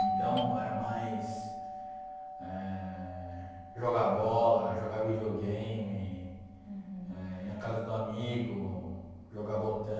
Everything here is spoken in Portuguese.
Então, era mais eh jogar bola, jogar videogame, eh ir na casa do amigo, jogar botão.